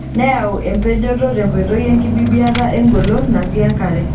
Neyau empejoto tenkoitoi enkibibiata engolon natii enkare.